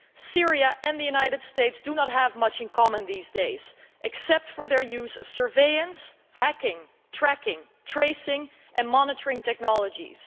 Syria and the United States do not have much in common these days except for their use of surveillance, hacking, tracking, tracing and monitoring technologies.